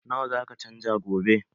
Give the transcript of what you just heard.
Nawa zaka canja gobe?